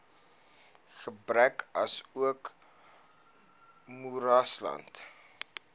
berge asook moeraslande